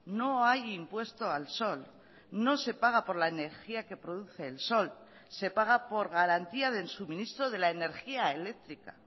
no hay impuesto al sol no se paga por la energía que produce el sol se paga por garantía del suministro de la energía eléctrica